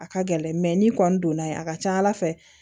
A ka gɛlɛn n'i kɔni donna yen a ka ca ala fɛ